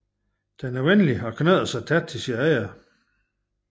Den er venlig og knytter sig tæt til sine ejere